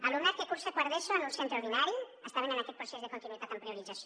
alumnat que cursa quart d’eso en un centre ordinari estaven en aquest procés de continuïtat amb priorització